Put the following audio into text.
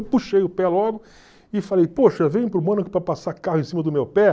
Eu puxei o pé logo e falei, poxa, venho para o Mônaco para passar carro em cima do meu pé.